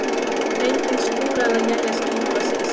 Engin skúra- eða éljaský hafa sést.